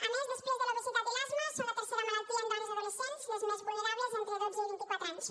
a més després de l’obesitat i l’asma són la tercera malaltia en dones adolescents les més vulnerables entre dotze i vint i quatre anys